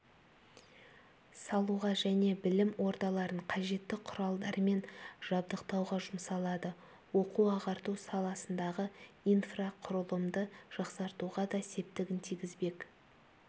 салуға және білім ордаларын қажетті құралдармен жабдықтауға жұмсалады оқу-ағарту саласындағы инфрақұрылымды жақсартуға да септігін тигізбек